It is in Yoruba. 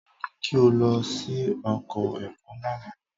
Mo ní kí o lọ sí oko ẹ̀fọ́ lánàá.